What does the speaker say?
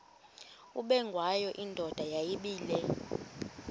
ubengwayo indoda yayibile